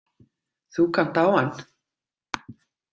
Þú kannt á hann